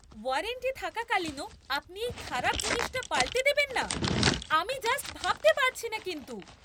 Warranty থাকাকালীনও আপনি এই খারাপ জিনিসটা পাল্টে দেবেন না? আমি জাস্ট ভাবতে পারছিনা কিন্তু!